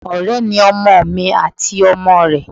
Ọ̀rẹ́ ni ọmọ mi àti ọmọ rẹ.